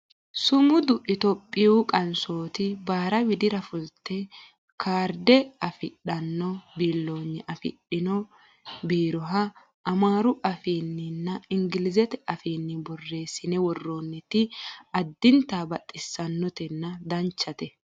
sumudu itiyophiyu qansooti baara widira fulate kaarde afidhanno biillonye afidhino biiroha amaaru afiinniinna ingilizete afiinni borreessine worroonniti addinta baxissannotenna danchate